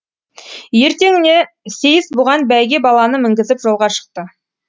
ертеңіне сейіс бұған бәйге баланы мінгізіп жолға шықты